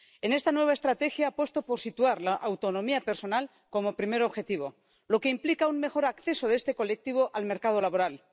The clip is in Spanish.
En esta nueva estrategia apuesto por situar la autonomía personal como primer objetivo, lo que implica un mejor acceso de este colectivo al mercado laboral.